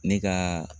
Ne ka